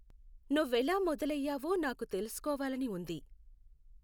నువ్వెలా మొదలయ్యావో నాకు తెలుసుకోవాలని ఉంది